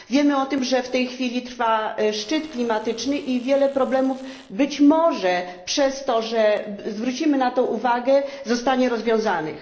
Wiemy o tym, że w tej chwili trwa szczyt klimatyczny i wiele problemów być może przez to, że zwrócimy na to uwagę zostanie rozwiązanych.